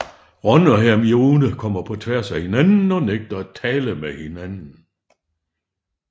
Ron og Hermione kommer på tværs af hinanden og nægter at tale med hinanden